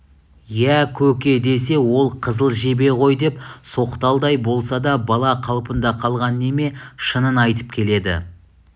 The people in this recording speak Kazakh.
иә көке десе ол қызыл жебе ғой деп соқталдай болса да бала қалпында қалған неме шынын айтып келеді